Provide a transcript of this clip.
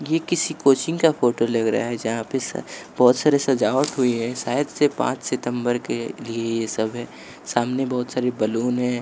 ये किसी कोचिंग का फोटो लग रहा है जहाँ पे बहुत सारे सजावट हुई है शायद से पाँच सितंबर के लिए ये सब है सामने बहुत सारे बलून है।